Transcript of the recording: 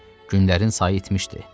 Günlərin sayı itmişdi.